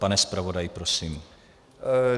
Pane zpravodaji, prosím.